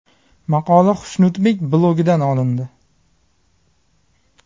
Maqola Xushnudbek blogi dan olindi.